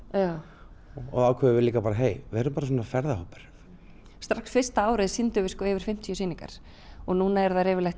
og ákváðum líka að vera svona ferðahópur strax fyrsta árið sýndum við yfir fimmtíu sýningar og núna eru þær yfirleitt